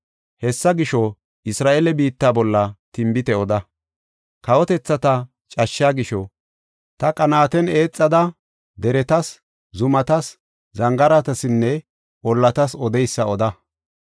Hessa gisho, Isra7eele biitta bolla tinbite oda. Kawotethata cashshaa gisho, ta qanaaten eexada deretas, zumatas, zangaaratsinne ollatas odeysa oda.